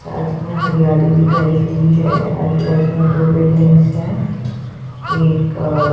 साथ में हरियाली दिखाई गई है आजू बाजू में दो बिल्डिंग्स है एक अ--